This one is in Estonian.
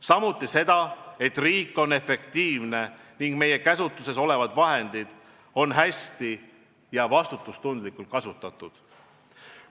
Samuti tähendab see seda, et riik on efektiivne ning meie käsutuses olevad vahendid on hästi ja vastutustundlikult kasutatud.